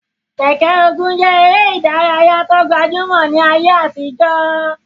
Keke-Ogun je ere idaraya ti o gbajumo ni aye atijo.